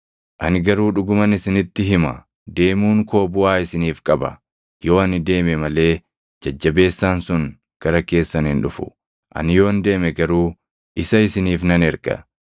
Ani garuu dhuguman isinitti hima; deemuun koo buʼaa isiniif qaba; yoo ani deeme malee Jajjabeessaan sun gara keessan hin dhufu; ani yoon deeme garuu isa isiniif nan erga.